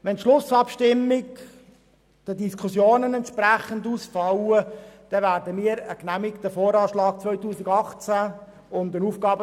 Wenn die Schlussabstimmung entsprechend den Diskussionen ausfallen wird, werden wir einen genehmigten VA 2018 und einen AFP 2019– 2021 haben.